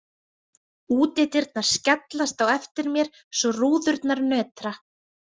Útidyrnar skellast á eftir mér svo rúðurnar nötra.